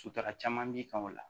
Sutara caman b'i kan o la